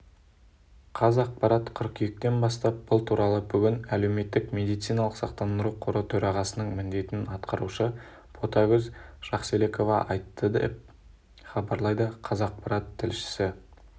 қазақпарат қыркүйектен бастап бұл туралы бүгін әлеуметтік медициналық сақтандыру қоры төрағасының міндетін атқарушы ботагөз жақселекова айтты деп хабарлайды қазақпарат тілшісі